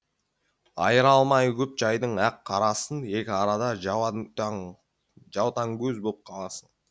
айыра алмай көп жайдың ақ қарасын екі арада жаутаңкөз боп қаласың